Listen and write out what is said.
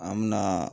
An me na